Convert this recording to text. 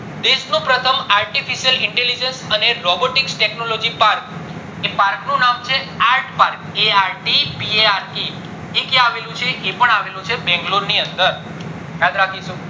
દેશ નું પ્રથમ artificial intelligence અને robotics technology parks એ park નું નામ છે art park a r t p a r k એ ક્યાં આવેલું છે એ પણ આવેલું છે બેંગલોરે ની અંદર યાદ રાખીશું